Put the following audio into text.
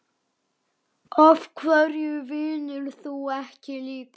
Af hverju vinnur þú ekki líka?